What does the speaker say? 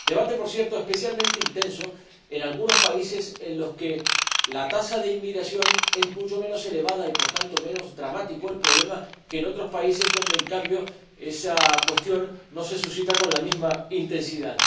debate, por cierto, especialmente intenso en algunos países en los que la tasa de inmigración es mucho menos elevada y, por tanto, menos dramático el problema que en otros países donde, en cambio, esa cuestión no se plantea con la misma intensidad.